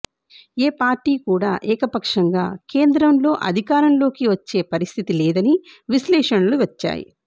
ఏ party కూడా ఏకపక్షంగా కేంద్రంలో అధికారంలోకి వచ్చే పరిస్థితి లేదని విశ్లేషణలు వచ్చాయి